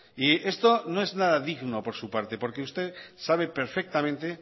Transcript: y esto no es nada digno por su parte porque usted sabe perfectamente